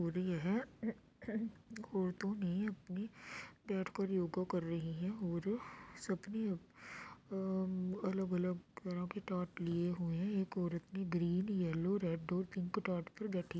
और यह औरतों ने अपनी बैठ कर योगा कर रही हैं और सबने अ अलग-अलग तरह के तात लिए हुए हैं । एक औरत ने ग्रीन येलो रेड और पिंक तात पर बैठी --